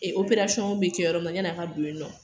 Ee Operasɔn be kɛ yɔrɔ min na yanni a ka don yen nɔ